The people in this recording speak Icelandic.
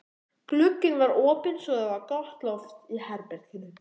Glugginn var opinn svo það var gott loft í herberginu.